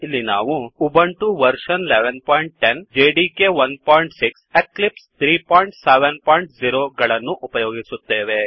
ಇಲ್ಲಿ ನಾವು Ubuntu version 1110ಉಬಂಟು version ೧೧೧೦ JDK 16 JDK ೧೬ Eclipse 370 Eclipse ೩೭೦ ಗಳನ್ನು ಉಪಯೋಗಿಸುತ್ತೇವೆ